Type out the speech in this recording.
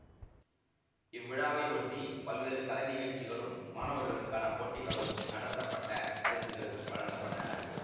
இவ்விழாவை ஒட்டி பல்வேறு கலைநிகழ்ச்சிகளும் மாணவர்களுக்கான போட்டிகளும் நடத்தப்பட்ட பரிசுகள் வழங்க பட்டன